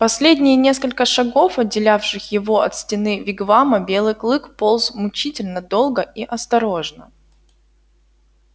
последние несколько шагов отделявших его от стены вигвама белый клык полз мучительно долго и осторожно